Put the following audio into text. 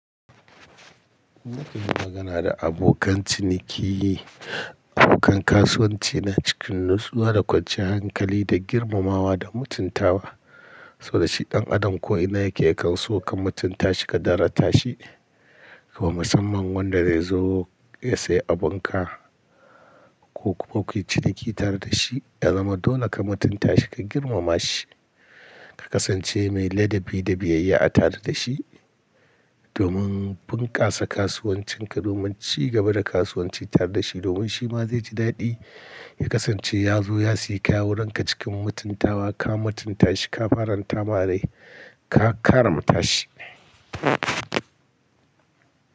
Nakan yi magana da abokan ciniki, abokan kasuwanci na cikin nitsuwa da kwanciyar hankali da girmamawa da mutuntawa. Saboda shi ɗan adam ko ina yake ya kauso ka mutunta shi ka darata shi. Kuma musamman wanda dai ya zo ya seya abunka ko kayi ciniki tare da shi, ya zama dole ka mutunta shi ka girmama shi. Ka kasance mai ladabi da biyayya a tare da shi, domin bunkasa kasuwancin ka domin ci gaba da kasuwanci tare da shi domin shi ma zai ji daɗi. Ya kasance ya zo ya seyi kaya wurin ka cikin mutuntawa ka mutunta shi ka faranta ma rai ka karamta shi.